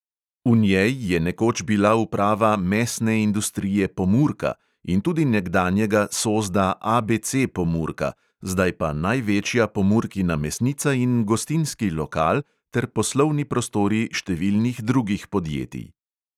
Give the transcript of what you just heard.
V njej je nekoč bila uprava mesne industrije pomurka in tudi nekdanjega sozda ABC pomurka, zdaj pa največja pomurkina mesnica in gostinski lokal ter poslovni prostori številnih drugih podjetij.